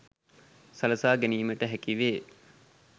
සලසා ගැනීමට හැකි වේ